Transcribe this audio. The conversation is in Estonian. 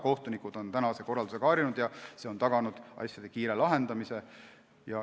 Kohtunikud on tänase korraldusega harjunud ja see on taganud asjade kiire lahendamise.